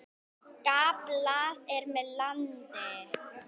Gamblað er með landið.